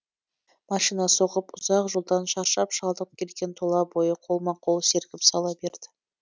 машина соғып ұзақ жолдан шаршап шалдығып келген тұла бойы қолма қол сергіп сала берді